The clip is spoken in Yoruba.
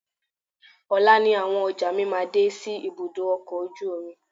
Ọ̀la ni àwọn ọjà mi máa dé sí ibùdó ọkọ̀ ojú omi.